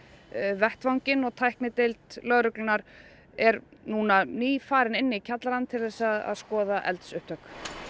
vettvanginn og tæknideild lögreglunnar er nú nýfarin inn í kjallarann til að skoða eldsupptök